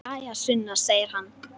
Jæja, Sunna, segir hann.